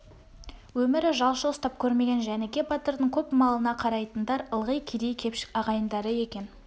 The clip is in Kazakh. өмірі жалшы ұстап көрмеген жәніке батырдың көп малына қарайтындар ылғи кедей кепшік ағайындары екен